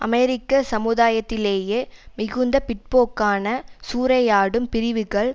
அமெரிக்க சமுதாயத்திலேயே மிகுந்த பிற்போக்கான சூறையாடும் பிரிவுகள்